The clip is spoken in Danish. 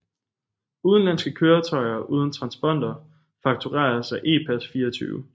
Udenlandske køretøjer uden transponder faktureres af Epass24